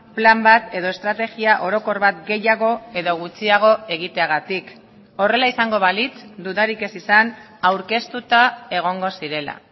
plan bat edo estrategia orokor bat gehiago edo gutxiago egiteagatik horrela izango balitz dudarik ez izan aurkeztuta egongo zirela